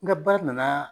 N ka baara nana